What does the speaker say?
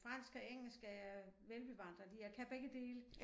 Fransk og engelsk er jeg velbevandret i jeg kan begge dele